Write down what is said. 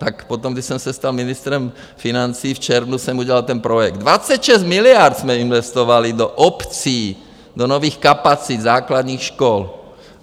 Tak potom, když jsem se stal ministrem financí, v červnu, jsem udělal ten projekt, 26 miliard jsme investovali do obcí, do nových kapacit základních škol.